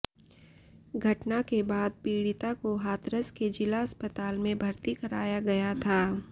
घटना के बाद पीड़िता को हाथरस के ज़िला अस्पताल में भर्ती कराया गया था